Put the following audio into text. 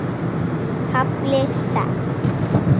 KAFLI SEX